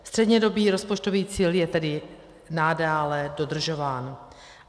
Střednědobý rozpočtový cíl je tedy nadále dodržován.